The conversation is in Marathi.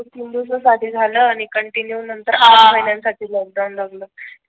दोन ते तीन दिवस साठी झालं आणि कंटिन्यू नंतर तीन महिन्यान साठी लोकडाऊन लागलं